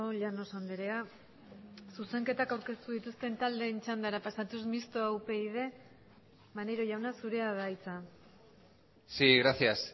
llanos andrea zuzenketak aurkeztu dituzten taldeen txandara pasatuz mistoa upyd maneiro jauna zurea da hitza sí gracias